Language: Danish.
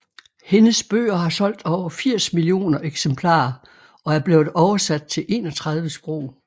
Hendes bøger har solgt over 80 millioner eksemplarer og er blevet oversat til 31 sprog